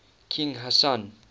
king hassan